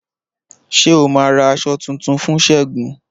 Ṣé o ma ra aṣọ tuntun fún segun?